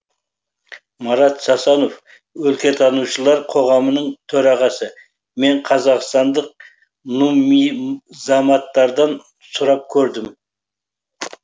марат сасанов өлкетанушылар қоғамының төрағасы мен қазақстандық нуммизаматтардан сұрап көрдім